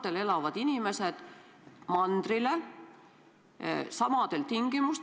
Piiride avamine ei sõltu mitte sellest, et kas on tore, et piirid on kinni.